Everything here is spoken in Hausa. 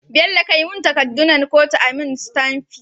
Bello kai mun takadun nan kotu ayi mun sitamfi